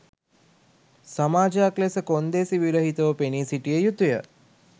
සමාජයක් ලෙස කොන්දේසි විරහිතව පෙනී සිටිය යුතුය